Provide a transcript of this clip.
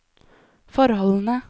forholdene